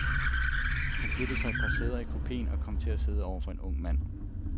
Hun flytter sig et par sæder i kupeen og kommer til at sidde over for en ung mand.